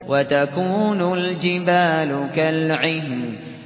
وَتَكُونُ الْجِبَالُ كَالْعِهْنِ